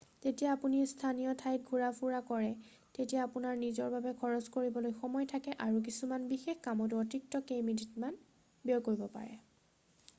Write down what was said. যেতিয়া আপুনি স্থানীয় ঠাইত ঘূৰা ফুৰা কৰে তেতিয়া আপোনাৰ নিজৰ বাবে খৰচ কৰিবলৈ সময় থাকে আৰু কিছুমান বিশেষ কামতো অতিৰিক্ত কেইমিনিটমান ব্যয় কৰিব পাৰে